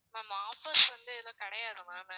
ma'am offers வந்து எதுவும் கிடையாது ma'am